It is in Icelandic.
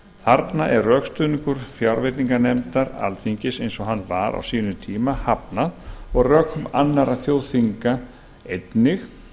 þarna er rökstuðningur fjárveitinganefndar alþingis eins og hann var á sínum tíma hafnað og rökum annarra þjóðþinga einnig